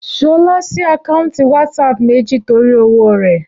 Ṣọlá sí àkáǹtì WhatsApp méjì torí òwò rẹ̀